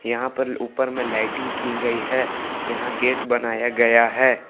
यहां पर ऊपर में लाइटिंग की गई है। यहां गेट बनाया गया है।